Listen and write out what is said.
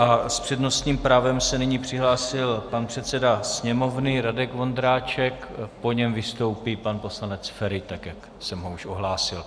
A s přednostním právem se nyní přihlásil pan předseda Sněmovny Radek Vondráček, po něm vystoupí pan poslanec Feri, tak jak jsem ho už ohlásil.